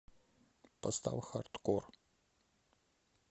поставь хардкор